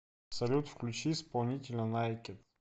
салют включи исполнителя найкед